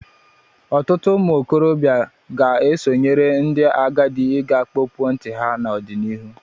Ọtụtụ ụmụ okorobịa ga-esonyere ndị agadi iga kpọpụo ntị ha n'ọdịnịhụ.